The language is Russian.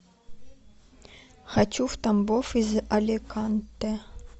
хочу в тамбов из аликанте